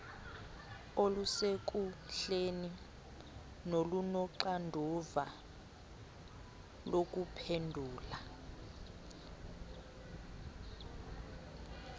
olusekuhleni nolunoxanduva lokuphendula